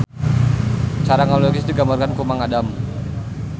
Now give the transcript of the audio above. Cara ngalukis digambarkeun ku Mang Adam